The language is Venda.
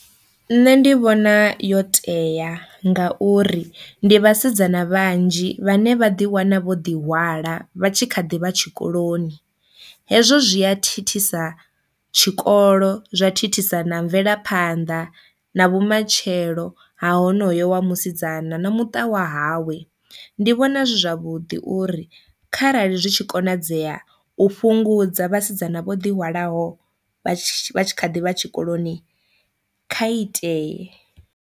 Nṋe ndi vhona yo tea ngauri ndi vhasidzana vhanzhi vhane vha ḓi wana vho ḓi hwala vha tshi kha ḓivha tshikoloni hezwo zwia thithisa tshikolo zwa thithisa na mvelaphanḓa na vhumatshelo ha honoyo wa musidzana na muṱa wa hawe, ndi vhona zwi zwavhuḓi uri kharali zwi tshi konadzea u fhungudza vhasidzana vho ḓi hwalaho vha tshi kha ḓivha tshikoloni kha iteye.